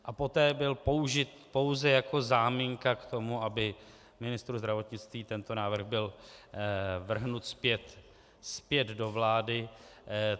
A poté byl použit pouze jako záminka k tomu, aby ministru zdravotnictví tento návrh byl vrhnut zpět do vlády.